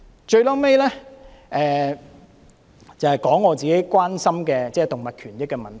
最後，我想提出自己關心的動物權益的問題。